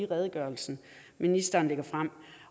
redegørelse ministeren lægger frem